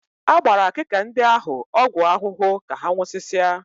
A gbara akịka ndị ahụ ọgwụ ahụhụ ka ha nwụsịsịa